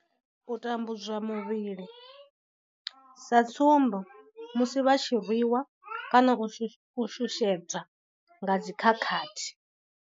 U tambudzwa muvhili sa tsumbo, musi vha tshi rwiwa kana u shushedzwa nga dzi khakhathi.